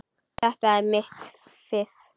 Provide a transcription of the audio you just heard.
Þetta er mitt fiff.